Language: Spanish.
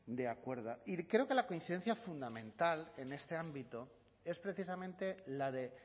de acuerdo y creo que la coincidencia fundamental en este ámbito es precisamente la de